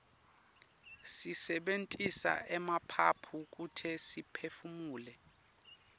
sisebentisa emaphaphu kute siphefumule